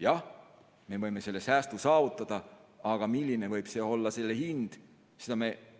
Jah, me võime selle säästu saavutada, aga seda, mis on selle hind,